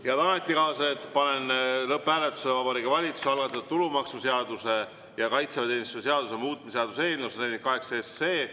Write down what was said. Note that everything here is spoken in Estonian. Head ametikaaslased, panen lõpphääletusele Vabariigi Valitsuse algatatud tulumaksuseaduse ja kaitseväeteenistuse seaduse muutmise seaduse eelnõu 148.